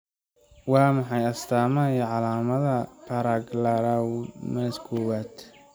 Waa maxay astamaha iyo calaamadaha Paragangliomas kowad?